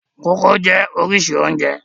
Kókò jẹ́ oríṣìí oúnjẹ.